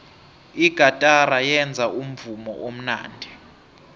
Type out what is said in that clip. igatara yenza umvumo omnandi